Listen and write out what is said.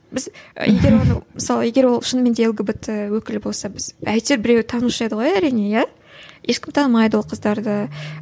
біз егер оны мысалы егер ол шынымен де лгбт өкілі болса біз әйтеуір біреуі танушы еді ғой әрине иә ешкім танымайды ол қыздарды